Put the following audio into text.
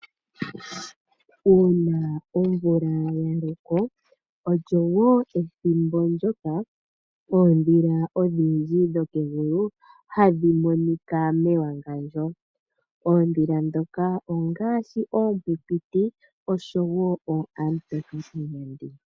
Uuna omvula yaloko olyo woo ethimbo ndyoka oondhila odhindji hadhi monika mewangandjo. Oondhila ndhoka ongaashi oonkwinkwiti osho woo oonamutoka kanyandi.